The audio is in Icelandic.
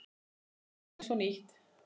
Tækið eins og nýtt.